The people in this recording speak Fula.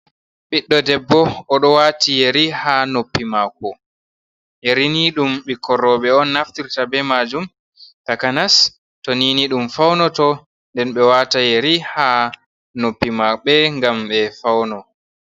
Ɓiɗɗo debbo, o ɗo wati yeri ha noppi mako. Yerini ɗum bikkon rowɓe on naftirta be majum, takanas to ni ni ɗum faunoto. Nden ɓe wata yeri ha noppi maɓɓe ngam ɓe fauno.